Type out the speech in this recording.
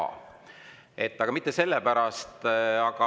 Aga ma ei räägi mitte sellest.